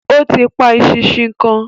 Ó ti pa eṣinṣin kan.